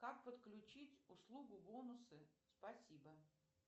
как подключить услугу бонусы спасибо